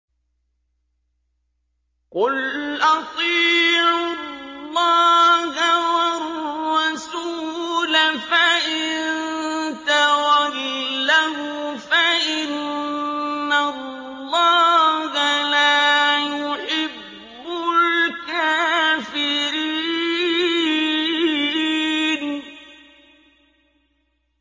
قُلْ أَطِيعُوا اللَّهَ وَالرَّسُولَ ۖ فَإِن تَوَلَّوْا فَإِنَّ اللَّهَ لَا يُحِبُّ الْكَافِرِينَ